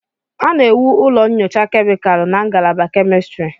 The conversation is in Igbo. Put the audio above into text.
A na-ewu ụlọ nyocha kemịkalụ na ngalaba kemistri.